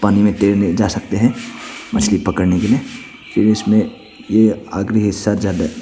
पानी में तैरने जा सकते हैं मछली पकड़ने के लिए फिर इसमें आखिरी हिस्सा--